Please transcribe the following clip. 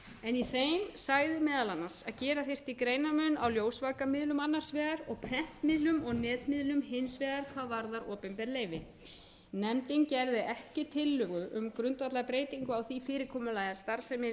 sagði meðal annars að gera þyrfti greinarmun á ljósvakamiðlum annars vegar og prentmiðlum og netmiðlum hins vegar hvað varðar opinber leyfi nefndin gerði ekki tillögu um grundvallarbreytingu á því fyrirkomulagi að starfsemi ljósvakamiðla